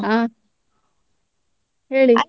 ಹ ಹೇಳಿ.